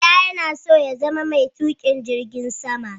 Bala yana so ya zama mai tuƙin jirgin sama.